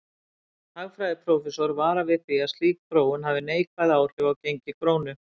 Hagfræðiprófessor varar við því að slík þróun hafi neikvæð áhrif á gengi krónu.